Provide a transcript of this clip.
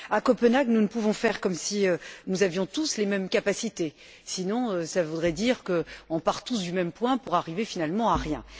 À Copenhague, nous ne pouvons faire comme si nous avions tous les mêmes capacités, sinon cela voudrait dire que l'on part tous du même point pour arriver finalement à rien.